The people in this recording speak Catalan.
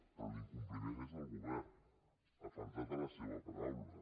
però l’incompliment és del govern ha faltat a la seva paraula